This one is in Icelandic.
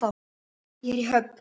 Ég er í höfn.